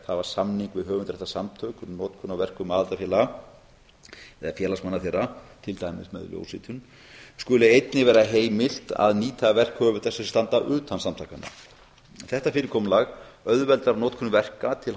hafa samning við höfundaréttarsamtök um notkun á verkum aðildarfélaga eða félagsmanna þeirra til dæmis með ljósritun skuli einnig vera heimilt að nýta verk höfunda sem standa utan samtakanna þetta fyrirkomulag auðveldar notkun verka til